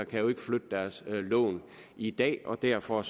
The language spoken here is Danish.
kan flytte deres lån i dag og derfor